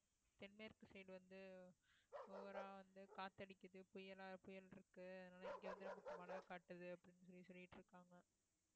தென்மேற்கு side வந்து over ஆ வந்து காத்து அடிக்குது புயலா புயல் இருக்கு அதனால இங்க வந்து நமக்கு மழை காட்டுது அப்படின்னு சொல்லி சொல்லிட்டு இருக்காங்க